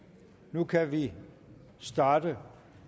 nu kan vi starte